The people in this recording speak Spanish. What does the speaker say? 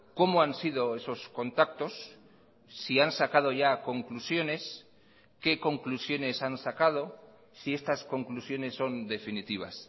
cómo han sido esos contactos si han sacado ya conclusiones qué conclusiones han sacado si estas conclusiones son definitivas